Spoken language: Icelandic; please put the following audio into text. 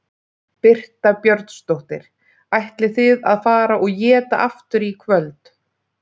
Birta Björnsdóttir: Ætlið þið að fara og éta aftur í kvöld?